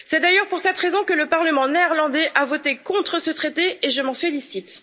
C'est d'ailleurs pour cette raison que le Parlement néerlandais a voté contre ce traité, et je m'en félicite.